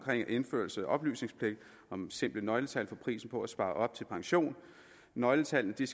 indførelse af oplysningspligt om simple nøgletal for prisen på at spare op til pension at nøgletallene